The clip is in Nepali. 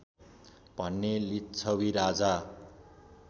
भने लिच्छवि राजा